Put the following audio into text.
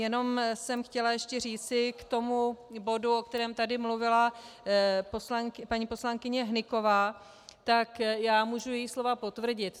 Jenom jsem chtěla ještě říci k tomu bodu, o kterém tady mluvila paní poslankyně Hnyková, tak já můžu její slova potvrdit.